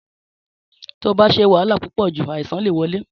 Tí o bá ṣé wahala púpò jù, àìsàn lè wole